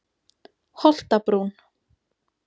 Holtabrún